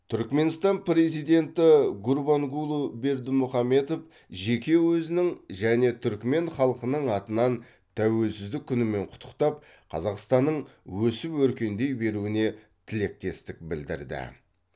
түрікменстан президенті гурбангулы бердімұхамедов жеке өзінің және түрікмен халқының атынан тәуелсіздік күнімен құттықтап қазақстанның өсіп өркендей беруіне тілектестік білдірді